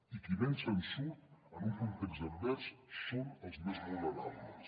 i qui menys se’n surt en un context advers són els més vulnerables